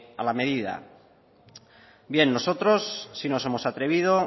a la medida bien nosotros sí nos hemos atrevido